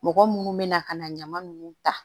Mɔgɔ munnu bɛna ka na ɲaman nunnu ta